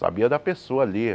Sabia da pessoa ali.